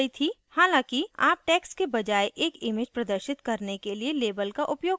हालांकि आप text के बजाय एक image प्रदर्शित करने के लिए label का उपयोग कर रहे हैं